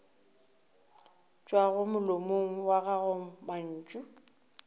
tšwago molomong wa gago mantšu